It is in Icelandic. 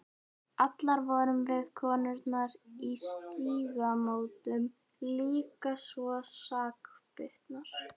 Allar vorum við, konurnar í Stígamótum, líka svo sakbitnar.